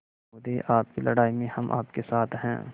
महोदय आपकी लड़ाई में हम आपके साथ हैं